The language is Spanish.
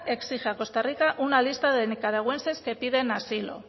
exige a costa rica una lista de nicaragüenses que piden asilo